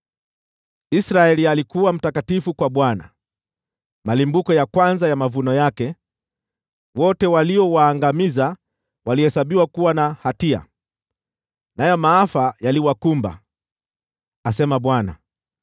Israeli alikuwa mtakatifu kwa Bwana , kama malimbuko ya kwanza ya mavuno yake; wote waliowaangamiza walihesabiwa kuwa na hatia, nayo maafa yaliwakumba,’ ” asema Bwana .